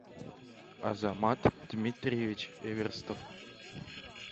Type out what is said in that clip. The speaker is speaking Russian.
азамат дмитриевич эверстов